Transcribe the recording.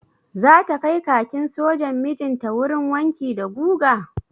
Zata kai kakin sojan mijinta wurin wanki da guga?